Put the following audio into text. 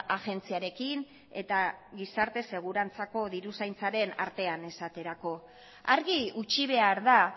agentziarekin eta gizarte segurantzako diru zaintzaren artean esaterako argi utzi behar da